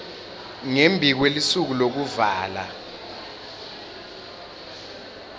ngembi kwelusuku lwekuvala